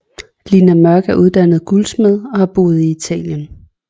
Lina Mørk er uddannet guldsmed og har boet i Italien